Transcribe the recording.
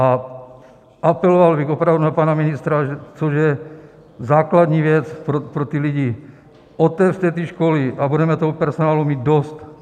A apeloval bych opravdu na pana ministra, což je základní věc pro ty lidi, otevřete ty školy a budeme toho personálu mít dost.